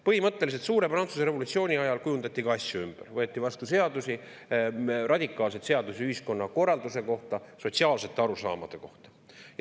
Põhimõtteliselt kujundati Prantsuse revolutsiooni ajal ka asju ümber, võeti vastu radikaalseid seadusi ühiskonnakorralduse kohta, sotsiaalsete arusaamade kohta.